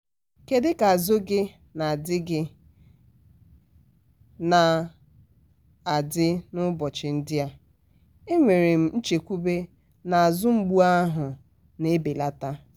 kedu ka azụ gị na-adị gị na-adị n'ụbọchị ndị a? e nwere m nchekwube na azụ mgbu ahụ na-ebelata.